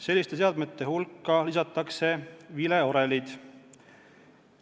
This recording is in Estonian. Selliste seadmete hulka lisatakse vileorelid.